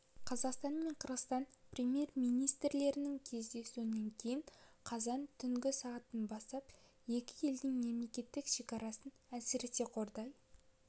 қазақстан мен қырғызстан премьер-министрлерінің кездесуінен кейін қазан түнгі сағат бастап екі елдің мемлекеттік шекарасын әсіресе қордай